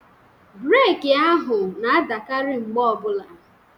Breeki ahụ na-adakarị mgbe ọbula.